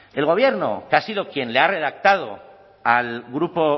el gobierno que ha sido quien le ha redactado al grupo